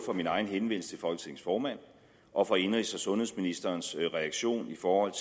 min egen henvendelse til folketingets formand og indenrigs og sundhedsministerens reaktion i forhold